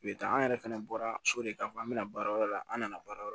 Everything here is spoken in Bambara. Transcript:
U bɛ taa an yɛrɛ fɛnɛ bɔra so de k'a fɔ an bɛna baara wɛrɛ la an nana baara wɛrɛ